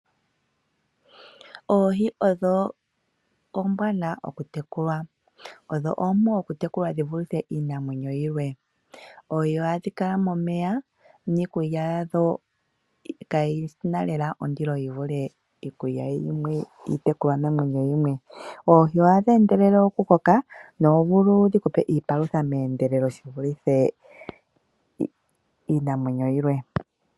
Oohi odho oombwanawa okutekulwa. Odho oompu okutekulwa dhi vulithe iinamwenyo yilwe. Oohi ohadhi kala momeya niikulya yadho kayi na lela ondilo ya fa iikulya yiitekulwanamwenyo yimwe. Oohi ohadhi endelele okukoka nohadhi vulu oku ku pa iipalutha dha fa iinamwenyo yilwe.